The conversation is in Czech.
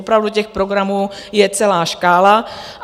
Opravdu těch programů je celá škála.